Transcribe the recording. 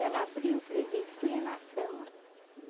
Ela abriu o presente, punha na cama.